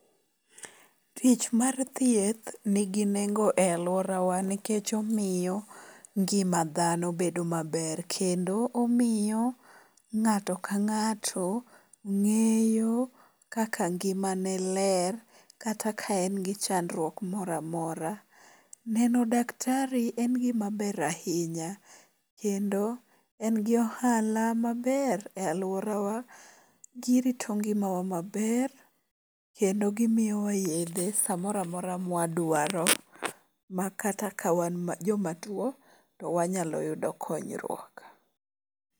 Tich mar thieth nigi nengo e aluorawa nikech omiyo ngima dhano bedo maber. Kendo omiyo ng'ato ka ng'ato ng'eyo kaka ngimane ler kata ka en gi chandruok moro amora. Neno daktari en gima ber ahinya. Kendo en gi ohala maber e aluorawa. Girito ngimawa maber. Kendo gimiyowa yedhe samoro amora ma wadwaro. Makata ka wan jomatuo to wanyalo yudo konyruok.